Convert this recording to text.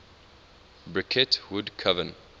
bricket wood coven